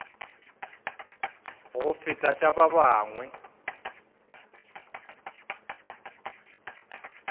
go feta tša ba bangwe